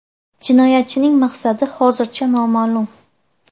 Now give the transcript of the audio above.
Jinoyatchining maqsadi hozircha noma’lum.